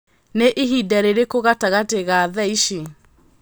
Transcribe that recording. Nī ihinda rīrīkū gatagati ga thaa ici